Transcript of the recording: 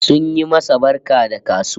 Sun yi masa barka da kasuwa